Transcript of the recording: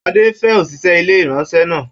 Adé ń fẹ́ òṣìṣẹ́ ilé ìraṣọ náà.